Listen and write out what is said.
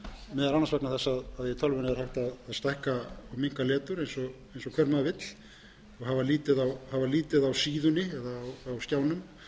er hægt að stækka og minnka letur eins og hver maður vill og hafa lítið á síðunni eða á skjánum